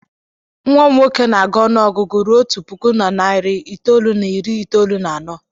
Nwa m nwoke na-agụ ọnụ ọgụgụ ruo otu puku na narị itoolu na iri itoolu na anọ.